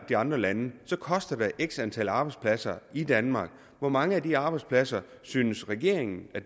de andre lande koster det x antal arbejdspladser i danmark hvor mange arbejdspladser synes regeringen